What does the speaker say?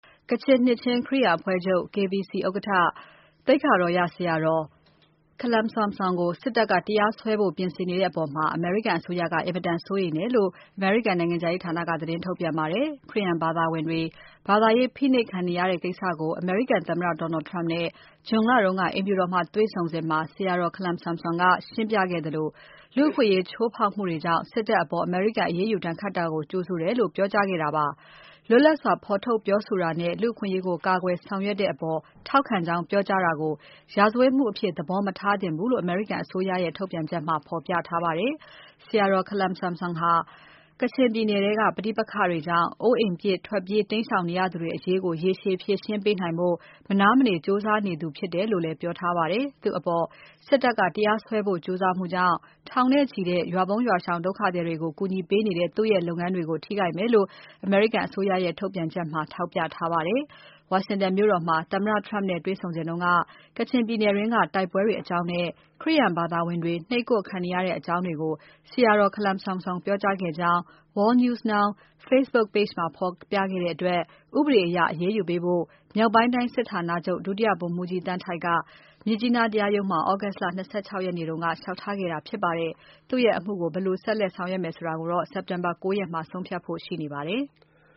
ကချင်နှစ်ခြင်း ခရစ်ယာန်အဖွဲ့ချုပ် ဥက္ကဋ္ဌ သိက္ခာတော်ရ ဆရာတော်ခလမ်ဆမ်ဆွမ်ကို စစ်တပ်က တရားစွဲဖို့ ပြင်ဆင်နေတဲ့အပေါ် အမေရိကန်အစိုးရက အင်မတန်စိုးရိမ်တယ်လို့ အမေရိကန်နိုင်ငံခြားရေးဌာနက သတင်းထုတ်ပြန်ပါတယ်။ ခရစ်ယာန်ဘာသာဝင်တွေ ဘာသာရေး ဖိနှိပ်ခံနေရတဲ့ ကိစ္စကို အမေရိကန်သမ္မတ Donald Trump နဲ့ ဇွန် လတုန်းက အိမ်ဖြူတော်မှာ တွေ့ဆုံစဉ် ဆရာတော် ခလမ်ဆမ်ဆွမ်က ရှင်းပြခဲ့သလို လူ့အခွင့်အရေး ချိုးဖောက်မှုတွေကြောင့် စစ်တပ်အပေါ် အမေရိကန် အရေးယူဒဏ်ခတ်တာကို ကြိုဆိုတယ်လို့ ပြောကြားခဲ့တာ ဖြစ်ပါတယ်။ လွတ်လပ်စွာ ဖော်ထုတ်ပြောဆိုတာနဲ့ လူ့အခွင့်အရေးကို ကာကွယ်ဆောင်ရွက်တဲ့အပေါ် ထောက်ခံကြောင်း ပြောကြားတာကို ရာဇဝတ်မှုအဖြစ် သဘောမထားသင့်ဘူးလို့ အမေရိကန်အစိုးရရဲ့ ထုတ်ပြန်ချက်မှာ ဖော်ပြထားပါတယ်။ ဆရာတော် ခလမ်ဆမ်ဆွမ်ဟာ ကချင်ပြည်နယ်ထဲက ပဋိပက္ခတွေကြောင့် အိုးအိမ်ပစ် ထွက်ပြေး တိမ်းရှောင်နေကြရသူတွေ အရေးကို ရေရှည်ဖြေရှင်းပေးနိုင်ဖို့ မနားမနေ ကြိုးစားသူဖြစ်တယ်လို့လည်း ပြောထားပါတယ်။ သူ့အပေါ် စစ်တပ်က တရားစွဲဖို့ကြိုးစားမှုကြောင့် ထောင်နဲ့ချီတဲ့ ရွာပုန်း ရွာရှောင် ဒုက္ခသည်တွေကို ကူညီပေးနေတဲ့ သူ့ရဲ့ လုပ်ရပ်တွေကို ထိခိုက်မယ်လို့ အမေရိကန်အစိုးရရဲ့ ထုတ်ပြန်ချက်ထဲမှာ ထောက်ပြထားပါတယ်။ ဝါရှင်တန်မြို့တော်မှာ သမ္မတ Trump နဲ့ တွေ့စဉ်က ကချင်ပြည်နယ်တွင်းက တိုက်ပွဲတွေအကြောင်းနဲ့ ခရစ်ယာန်ဘာသာဝင်တွေ နှိပ်ကွပ်ခံနေရတဲ့အကြောင်းတွေကို ဆရာတော်ခလမ်ဆမ်ဆွမ် ပြောကြားခဲ့ကြောင်း World News Now Facebook Page မှာ ဖေါ်ပြခဲ့တဲ့တွက် ဥပဒေအရ အရေးယူဖို့ မြောက်ပိုင်းတိုင်းစစ်ဌာနချုပ် ဒုတိယ ဗိုလ်မှူးကြီး သန်းထိုက်က မြစ်ကြီးနား တရားရုံးမှာ သြဂုတ်လ ၂၆ ရက်နေ့က ဦးတိုက် လျှောက်ထားခဲ့တာ ဖြစ်ပါတယ်။ သူ့ရဲ့ အမှုကို ဘယ်လိုဆက်လက် ဆောင်ရွက်မယ်ဆိုတာ စက်တင်ဘာ ၉ ရက်မှာ ဆုံးဖြတ်ဖို့ ရှိနေပါတယ်။